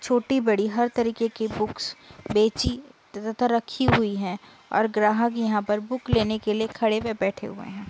छोटी बड़ी हर तरीके की बुक्स बेची त तथा रखी हुई हैं और ग्राहक यहाँ पर बुक लेने के लिए खड़े व बैठे हुए हैं।